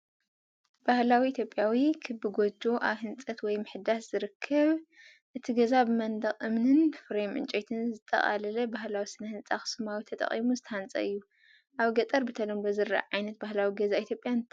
ባህላዊ ኢትዮጵያዊ ክቢ ጎጆ ኣብ ህንጸት ወይ ምሕዳስ ዝርከብ። እቲ ገዛ ብመንደቕ እምንን ፍሬም ዕንጨይትን ዘጠቓለለ ባህላዊ ስነ ህንጻ ኣኽሱማዊ ተጠቒሙ ዝተሃንጸ እዩ። ኣብ ገጠር ብተለምዶ ዝረአ ዓይነት ባህላዊ ገዛ ኢትዮጵያ እንታይ እዩ?